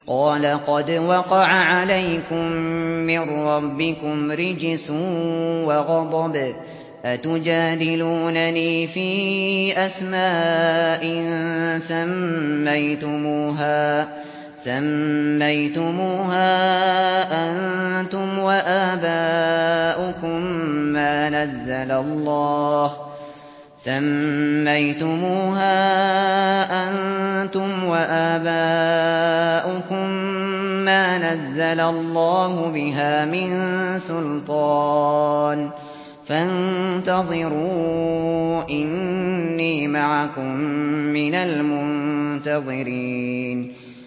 قَالَ قَدْ وَقَعَ عَلَيْكُم مِّن رَّبِّكُمْ رِجْسٌ وَغَضَبٌ ۖ أَتُجَادِلُونَنِي فِي أَسْمَاءٍ سَمَّيْتُمُوهَا أَنتُمْ وَآبَاؤُكُم مَّا نَزَّلَ اللَّهُ بِهَا مِن سُلْطَانٍ ۚ فَانتَظِرُوا إِنِّي مَعَكُم مِّنَ الْمُنتَظِرِينَ